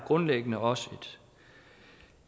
grundlæggende også